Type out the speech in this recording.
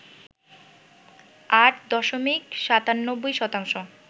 ৮ দশমিক ৯৭ শতাংশ